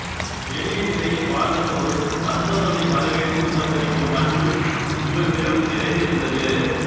எளிய நிலையில் வாழ்ந்த போதும் வந்தவர்களை வரவேற்று உபசரிக்கும் பண்பு இவர்களிடம் நிறைந்திருந்தது